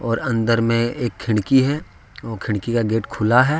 और अंदर में एक खिड़की है वो खिड़की का गेट खुला है।